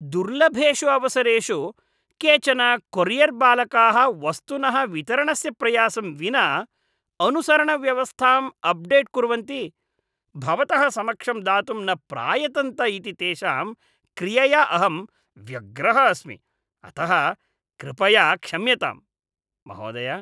दुर्लभेषु अवसरेषु केचन कोरियर्बालकाः वस्तुनः वितरणस्य प्रयासं विना अनुसरणव्यवस्थाम् अप्डेट् कुर्वन्ति, भवतः समक्षं दातुं न प्रायतन्त इति तेषां क्रियया अहं व्यग्रः अस्मि, अतः कृपया क्षम्यतां, महोदय।